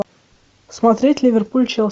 смотреть ливерпуль челси